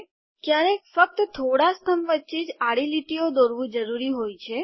ક્યારેક ફક્ત થોડા સ્તંભ વચ્ચે જ આડી લીટીઓ દોરવું જરૂરી હોય છે